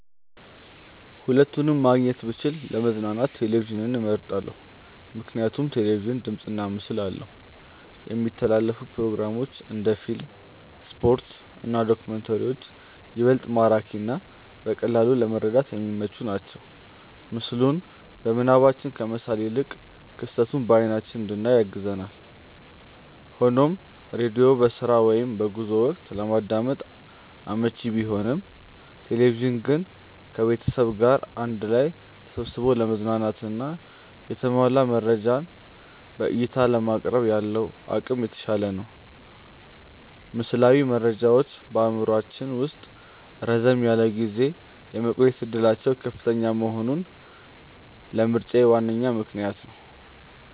ሁለቱንም ማግኘት ብችል ለመዝናኛ ቴሌቪዥንን መርጣለው። ምክንያቱም ቴሌቪዥን ድምፅና ምስል አለው፣ የሚተላለፉ ፕሮግራሞች (እንደ ፊልም፣ ስፖርት እና ዶክመንተሪዎች) ይበልጥ ማራኪና በቀላሉ ለመረዳት የሚመቹ ናቸው። ምስሉን በምናባችን ከመሳል ይልቅ ክስተቱን በአይናችን እንድናይ ያግዛል። ሆኖም ሬዲዮ በስራ ወይም በጉዞ ወቅት ለማዳመጥ አመቺ ቢሆንም፣ ቴሌቪዥን ግን ከቤተሰብ ጋር አንድ ላይ ተሰብስቦ ለመዝናናትና የተሟላ መረጃን በዕይታ ለማቅረብ ያለው አቅም የተሻለ ነው። ምስላዊ መረጃዎች በአእምሯችን ውስጥ ረዘም ላለ ጊዜ የመቆየት ዕድላቸው ከፍተኛ መሆኑም ለምርጫዬ ዋነኛ ምክንያት ነው።